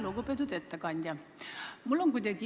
Lugupeetud ettekandja!